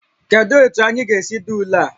Kedu otu anyị ga-esi dee ule a?